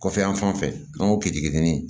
Kɔfɛ yan fan fɛ an ŋ'o k'i ni